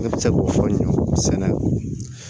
Ne bɛ se k'o fɔ ɲɛnɛ sɛnɛ